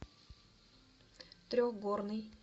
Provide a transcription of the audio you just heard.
трехгорный